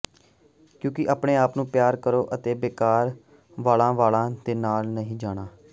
ਕਿਉਂਕਿ ਆਪਣੇ ਆਪ ਨੂੰ ਪਿਆਰ ਕਰੋ ਅਤੇ ਬੇਕਾਰ ਵਾਲ਼ਾ ਵਾਲਾਂ ਦੇ ਨਾਲ ਨਹੀਂ ਜਾਣਾ